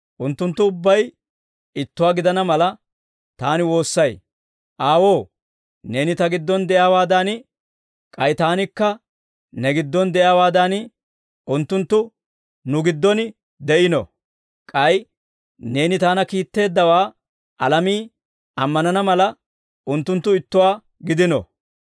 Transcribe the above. Unttunttu ubbay ittuwaa gidana mala, Taani woossay. Aawoo, Neeni Ta giddon de'iyaawaadan, k'ay Taanikka Ne giddon de'iyaawaadan, unttunttu nu giddon de'iino. K'ay neeni Taana kiitteeddawaa alamii ammanana mala, unttunttu ittuwaa gidino.